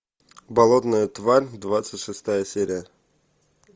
болотная тварь двадцать шестая серия